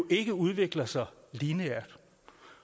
ikke udvikler sig lineært